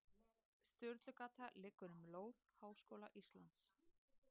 Sturlugata liggur um lóð Háskóla Íslands.